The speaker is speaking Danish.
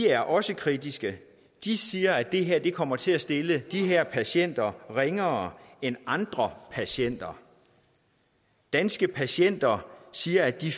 er også kritiske de siger at det her kommer til at stille de her patienter ringere end andre patienter danske patienter siger at de